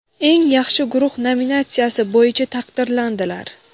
eng yaxshi guruh nominatsiyasi bo‘yicha taqdirlandilar.